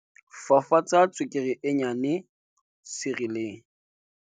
fafatsa tswekere e nnyane sirieleng